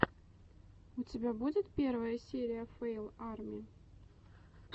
у тебя будет первая серия фэйл арми